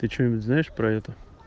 ты что-нибудь знаешь про это